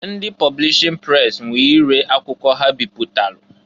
Ndị publishin pres nwe ire akwụkwọ ha bịpụtalụ.